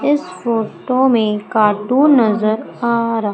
इस फोटो में कार्टुन नजर आ--